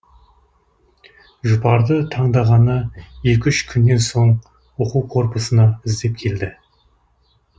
жұпарды таңдағаны екі үш күннен соң оқу корпусына іздеп келді